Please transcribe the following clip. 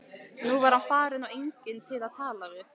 Nú var hann farinn og enginn til að tala við.